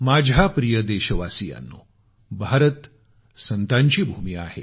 माझ्या प्रिय देशवासियांनो भारत संतांची भूमी आहे